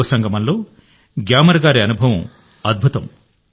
యువ సంగమంలో గ్యామర్ గారి అనుభవం అద్భుతం